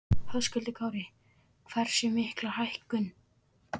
Höskuldur Kári: Hversu mikla hækkun?